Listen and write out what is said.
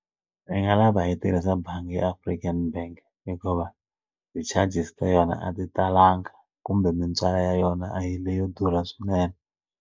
Nu nga lava hi tirhisa bangi ya African bank hikuva ti-charges ta yona a ti talanga kumbe mintswalo ya yona a yi leyo durha swinene.